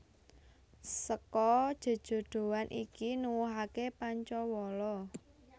Seka jejodhoan iki nuwuhake Pancawala